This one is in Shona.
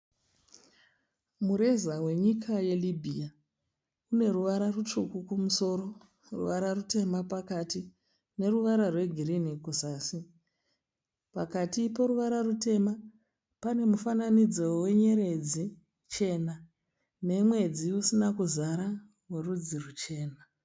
Mureza wenyika yeLibya, une ruvara rutsvuku kumusoro, ruvara rutema pakati neruvara rwegirini kuzasi. Pakati poruvara rutema pane mufananidzo wenyeredzi chena nemwedzi usina kuzara werudzi rwuchena.